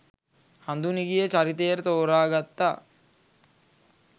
හඳුනිගේ චරිතයට තෝරාගත්තා